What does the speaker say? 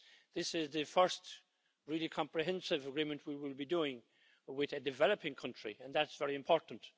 This is the first really comprehensive agreement we will be doing with a developing country, and that's very important.